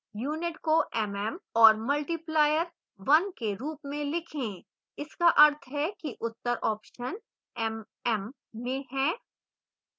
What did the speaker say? unit को mm और multiplier 1के रूप में लिखें इसका अर्थ है कि उत्तर ऑप्शन mm में हैं